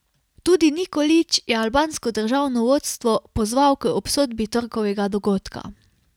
Tudi Nikolić je albansko državno vodstvo pozval k obsodbi torkovega dogodka.